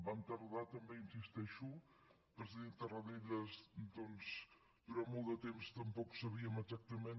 vam tardar també hi insisteixo el president tarradellas doncs durant molt de temps tampoc sabíem exactament